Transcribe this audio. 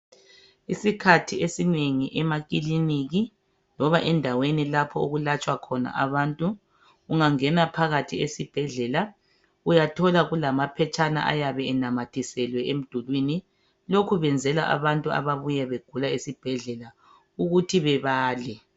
Isikhathi esinengi emakliniki loba endaweni lapho okulatshwa abantu ungangena phakathi esibhedlela uyathola kulamaphetshana ayabe enamathiselwe emdulwini , lokhu benzela abantu ababuye begula esibhedlela ukuthi bebale